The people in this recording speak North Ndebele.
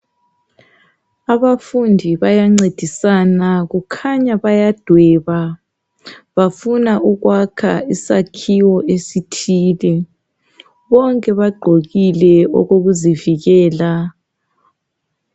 Abafundi bayancedisana kukhanya bayadweba .Bafuna ukwakha isakhiwo esithile .Bonke bagqokile okokuzivikela .